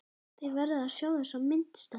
Þið verðið að sjá þessa mynd, stelpur!